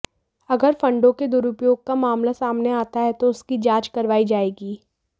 अगर फंडों के दुरुपयोग का मामला सामने आता है तो उसकी जांच करवाई जाएगी